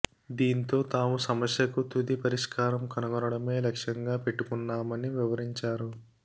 దీంతో తాము సమస్యకు తుది పరిష్కారం కనుగొనడమే లక్షంగా పెట్టుకున్నామని వివరించారు